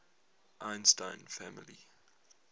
einstein family